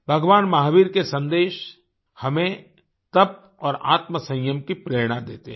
भगवान महावीर के सन्देश हमें तप और आत्म संयम की प्रेरणा देते हैं